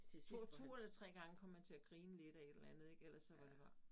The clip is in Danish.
2 2 eller 3 gange kom man til at grine lidt ad et eller andet ik ellers så var det bare